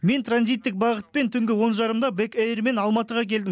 мен транзиттік бағытпен түнгі он жарымда бек эйрмен алматыға келдім